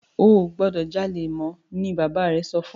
o gbódò jalè mọ! ní bàbá rẹ sọfún!